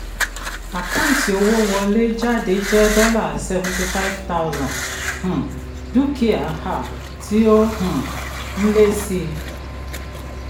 àkáǹtì owó wọlé jáde jẹ́ dollar sevnty five thouand um dúkìá um tí ó um n lé sí i.